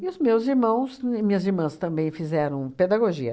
E os meus irmãos e minhas irmãs também fizeram pedagogia.